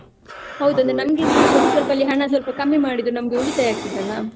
ಹೌದು ಅದು ಅಂದ್ರೆ ನಮಗೆ ಅಂತ ಹೇಳಿ ಸ್ವಲ್ಪ, ಅಲ್ಲಿ ಹಣ ಸ್ವಲ್ಪ ಕಮ್ಮಿ ಮಾಡಿದ್ರು ನಮಗೆ ಉಳಿತಾಯ ಆಗ್ತದಲ್ಲ?